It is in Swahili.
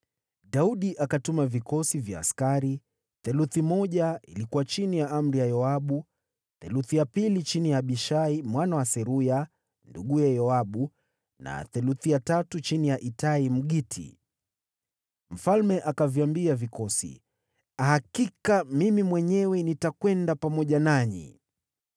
Daudi akatuma vikosi vya askari: theluthi moja ilikuwa chini ya amri ya Yoabu, theluthi ya pili chini ya Abishai mwana wa Seruya nduguye Yoabu, na theluthi ya tatu chini ya Itai, Mgiti. Mfalme akaviambia vikosi, “Hakika mimi mwenyewe nitakwenda pamoja nanyi.”